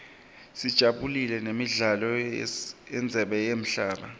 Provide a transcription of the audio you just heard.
sajabulela nemidlalo yendzebe yemhlaba